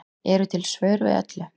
Eru til svör við öllu?